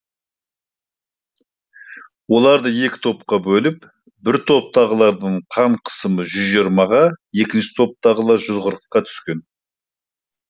оларды екі топқа бөліп бір топтағылардың қан қысымы жүз жиырмаға екінші топтағылар жүз қырыққа түскен